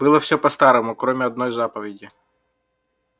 было всё по-старому кроме одной заповеди